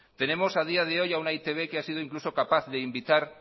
tenemos a día de hoy a una e i te be que ha sido incluso capaz de invitar